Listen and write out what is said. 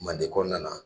Manden kɔnɔna na